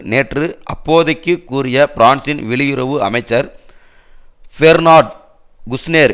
நேற்று அப்போதைக்கு கூறிய பிரான்சின் வெளியுறவு அமைச்சர் பேர்னார்ட் குஷ்னேர்